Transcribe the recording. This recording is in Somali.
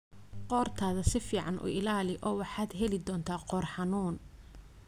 Qoortaada si fiican u ilaali oo waxaad heli doontaa qoor xanuun.